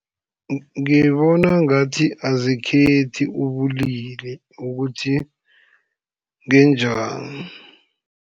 Ngibona ngathi azikhethi ubulili ukuthi ngenjani.